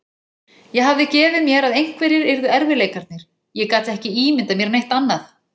Ég hafði gefið mér að einhverjir yrðu erfiðleikarnir, ég gat ekki ímyndað mér neitt annað.